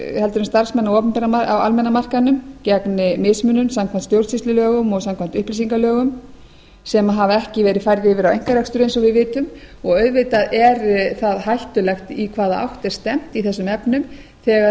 heldur en starfsmenn á almenna markaðnum gegn mismunun samkvæmt stjórnsýslulögum og samkvæmt upplýsingalögum sem hafa ekki verið færð yfir á einkarekstur eins og vitum og auðvitað er það hættulegt í hvaða átt er stefnt í þessum efnum þegar